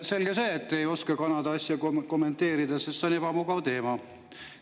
Selge see, et te ei oska Kanada asja kommenteerida, sest see on ebamugav teema.